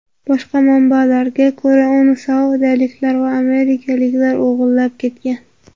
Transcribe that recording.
Boshqa manbalarga ko‘ra, uni saudiyaliklar va amerikaliklar o‘g‘irlab ketgan.